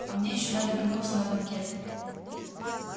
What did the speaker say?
а мне ещё надо вернуться на банкет